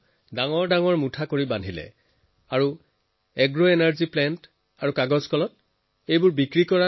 গাঁথ বনোৱাৰ পিছত তেওঁ নৰাবিলাক এগ্ৰএনাৰ্জি প্লেণ্ট আৰু পেপাৰ মিলক বেচি দিয়ে